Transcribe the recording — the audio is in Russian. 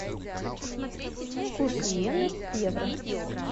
курс йены к евро